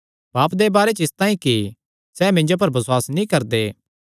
पाप दे बारे च इसतांई कि सैह़ मिन्जो पर बसुआस नीं करदे